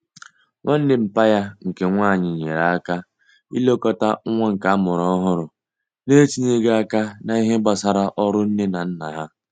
Nwanne mpa ya nke nwanyi nyere aka ilekota nwa nke amuru ohuru n'etinyeghi aka n'ihe gbasara oru Nne na Nna ha